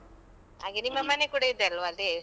ಹಾಗೇ, ನಿಮ್ಮ ಮನೆ ಕೂಡ ಇದೆಯಲ್ವಾ ಅಲ್ಲಿ?